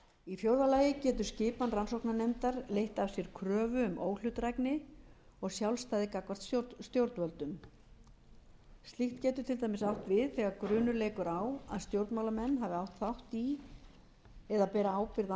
í fjórða lagi getur skipan rannsóknarnefndar leitt af sér kröfu um óhlutdrægni og sjálfstæði gagnvart stjórnvöldum slíkt getur til dæmis átt við þegar grunur leikur á að stjórnmálamenn hafi átt þátt í eða beri ábyrgð á